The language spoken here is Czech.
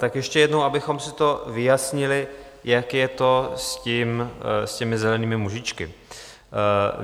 Tak ještě jednou, abychom si to vyjasnili, jak je to s těmi zelenými mužíčky.